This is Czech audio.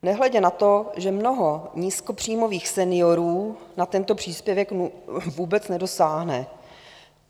Nehledě na to, že mnoho nízkopříjmových seniorů na tento příspěvek vůbec nedosáhne.